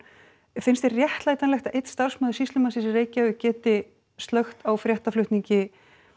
finnst þér réttlætanlegt að einn starfsmaður sýslumannsins í Reykjavík geti slökkt á fréttaflutningi